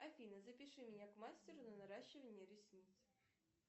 афина запиши меня к мастеру на наращивание ресниц